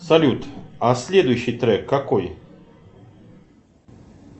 салют а следующий трек какой